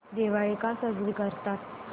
दिवाळी का साजरी करतात